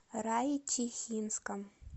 райчихинском